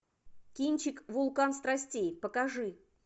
кинчик вулкан страстей покажи